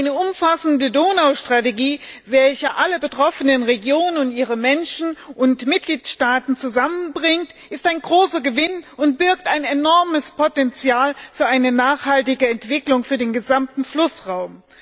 Eine umfassende Donaustrategie, welche alle betroffenen Regionen, ihre Menschen und Mitgliedstaaten zusammenbringt, ist ein großer Gewinn und birgt ein enormes Potenzial für eine nachhaltige Entwicklung für den gesamten Flussraum.